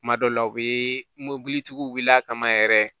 Kuma dɔw la u bɛ mobilitigiw wuli a kama yɛrɛ